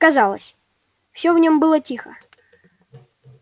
казалось всё в нем было тихо